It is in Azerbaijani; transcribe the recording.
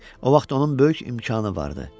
O vaxt onun böyük imkanı vardı.